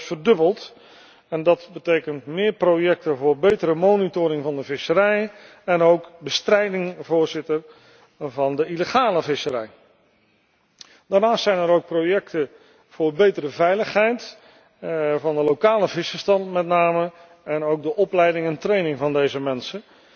Het is zelfs verdubbeld en dat betekent meer projecten voor betere monitoring van de visserij en ook bestrijding van de illegale visserij. Daarnaast zijn er ook projecten voor meer veiligheid voor met name de lokale vissers en voor de opleiding en training van deze mensen